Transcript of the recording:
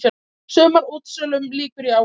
Sumarútsölunum lýkur í ágúst